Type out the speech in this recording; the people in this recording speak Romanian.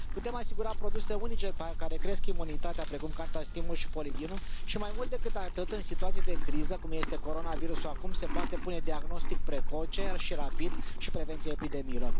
Putem asigura produse unice care cresc imunitatea, precum Qantas Timus și Polidinul, și, mai mult decât atât, în situații de criză cum este coronavirusul acum, se poate pune diagnostic precoce și rapid și preveni epidemiile.